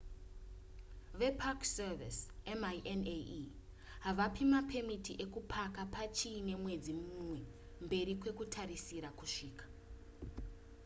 vepark service minae havapi mapemiti ukupaka pachiine mwedzi mumwe mberi kwekutarisira kusvika